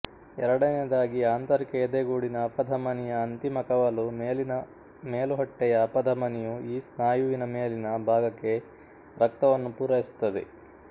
ಎರಡನೆಯದಾಗಿ ಆಂತರಿಕ ಎದೆಗೂಡಿನ ಅಪಧಮನಿಯ ಅಂತಿಮ ಕವಲು ಮೇಲಿನ ಮೇಲುಹೊಟ್ಟೆಯ ಅಪಧಮನಿಯು ಈ ಸ್ನಾಯುವಿನ ಮೇಲಿನ ಭಾಗಕ್ಕೆ ರಕ್ತವನ್ನು ಪೂರೈಸುತ್ತದೆ